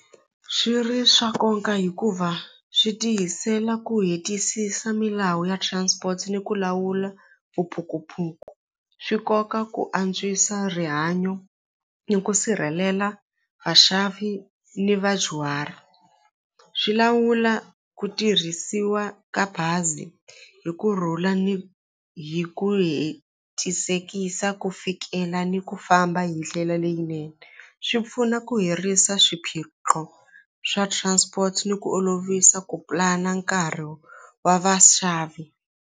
Swi ri swa nkoka hikuva swi tiyisela ku hetisisa milawu ya transport ni ku lawula vuphukuphuku swi koka ku antswisa rihanyo hi ku sirhelela vaxavi ni vadyuhari swi lawula ku tirhisiwa ka bazi hi kurhula ni hi ku hetisekisa ku fikela ni ku famba hi ndlela leyinene swi pfuna ku hirisa swiphiqo swa transport ni ku olovisa ku plan-a nkarhi wa vaxavi.